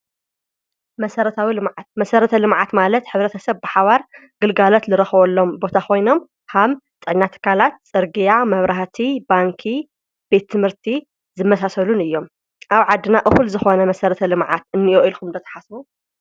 መሠረትዊ ልማዓት መሠረተ ልመዓት ማለት ኅብረተሰብ ሓባር ግልጋለት ልረኸወሎም ቦታ ኾይኖም ሃም ጠናተ ካላት ጸርጊያ መብራህቲ ባንኪ ቤትምህርቲ ዝመሳሰሉን እዮም። ኣብ ዓድና እሁል ዝኾነ መሠረተ ልምዓት እንዮ ኢልኹምለተሓስ?